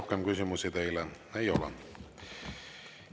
Rohkem küsimusi teile ei ole.